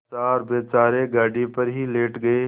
लाचार बेचारे गाड़ी पर ही लेट गये